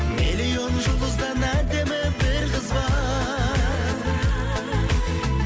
миллион жұлдыздан әдемі бір қыз бар